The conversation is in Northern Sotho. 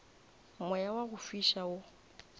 moya wa go fiša wo